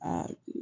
Aa